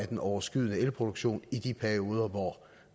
den overskydende elproduktion i de perioder hvor